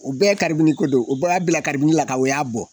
O bɛɛ karibini ko don o bɛɛ y'a bila karibini la ka o y'a bɔ